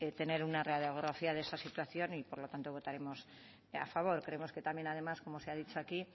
tener una radiografía de esa situación y por lo tanto votaremos a favor creemos que también además como se ha dicho aquí